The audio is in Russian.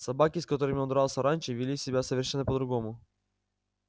собаки с которыми он дрался раньше вели себя совершенно по другому